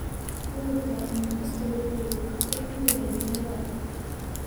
Cudurka Newcastle wuxuu khatar ku yahay digaagga.